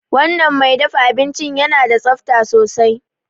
Wanan mai dafa abincin yana da tsabta sosai